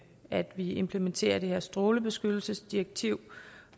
at vi implementerer det her strålebeskyttelsesdirektiv